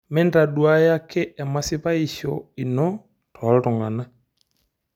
Mintoduaya ake emasipaishu ino tooltang'una